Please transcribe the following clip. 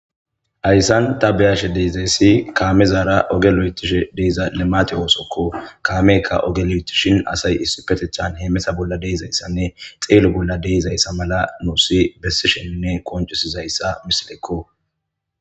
Haysan ta beyashe dizaysi kaametara oge oothishe dizaysa limate oothoko. Kaameyka oge lo'ethishin asay issipetethan kaameza bolla de'izaysa mala nuusi besishe misiley qoncisizaysako.